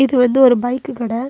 இது வந்து ஒரு பைக்கு கட.